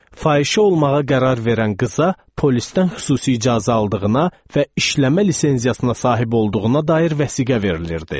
Fahişə olmağa qərar verən qıza, polisdən xüsusi icazə aldığına və işləmə lisenziyasına sahib olduğuna dair vəsiqə verilirdi.